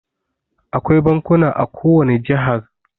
Akwai bankuna a ko wani jihar.